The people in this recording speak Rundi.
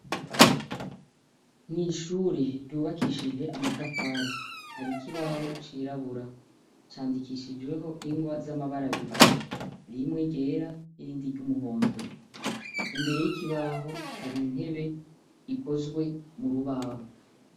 N'ishure ryubakishijwe amatafari, har'ikibaho cirabura candikishijweho ingwa z'amabara abiri, rimwe ryera irindi ry'umuhondo, imbere yikibaho har'intebe ikozwe murubaho.